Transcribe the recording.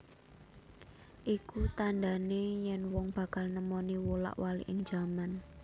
Iku tandhane yen wong bakal nemoni wolak waliking jaman